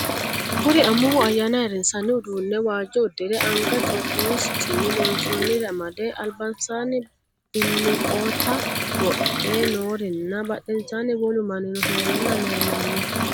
Kuri amuwu ayaanna ayiirisanni uduunne waajjo udirre anga ithiopiyu siccinni loonsoonnire amade ,alibinsara biliqootta wodhe noori nna badheensaanni wolu maninno heeranna leellanno